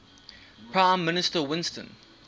prime minister winston